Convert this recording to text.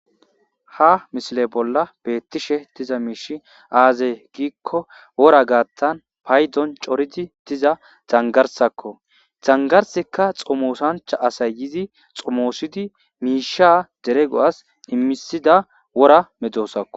Ha misile bolla beettishe diza miishshi aazey giikko wora gaattan paydon coridi diza zangarsakko zangarsekka xomoosancha asay yizi xomoosidi miisha derego'as immisida wora medoosakko